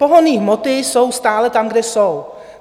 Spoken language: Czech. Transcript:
Pohonné hmoty jsou stále tam, kde jsou.